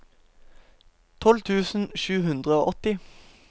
tolv tusen sju hundre og åtti